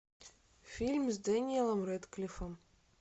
фильм с дэниелом рэдклиффом